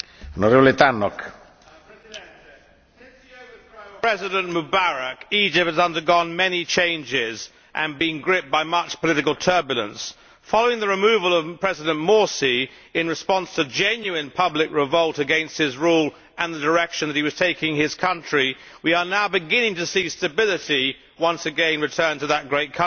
Mr President, since the overthrow of President Mubarak, Egypt has undergone many changes and been gripped by much political turbulence. Following the removal of President Morsi in response to genuine public revolt against his rule and the direction in which he was taking his country, we are now beginning to see stability once again return to that great country.